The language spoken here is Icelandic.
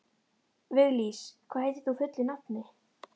Viglís, hvað heitir þú fullu nafni?